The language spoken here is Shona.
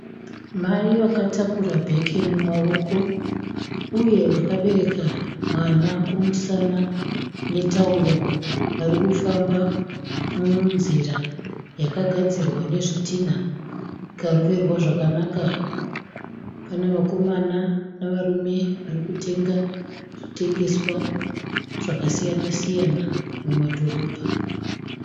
Mai vakatakura bheke mumaoko uye vakabereka mwana kumusana netauro. Vari kufamba munzira yakagadzirwa nezvitinha ikaroverwa zvakanaka. Pane vakomana nevarume vari kutenga zvitengeswa zvakasiya siyana mumadhorobha.